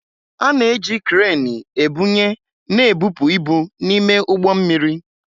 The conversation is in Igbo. A na-eji kreenị ebunye na ebupu ibu n'ime ụgbọ mmiri